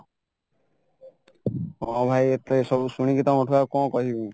ହଁ ଭାଇ ଏତେ ସବୁଶୁଣିକି ଆଉ କଣ କହିବି